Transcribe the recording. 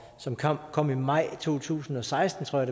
som kom kom i maj to tusind og seksten tror